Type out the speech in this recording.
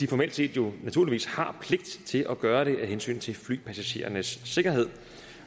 formelt set jo naturligvis har pligt til at gøre det af hensyn til flypassagerernes sikkerhed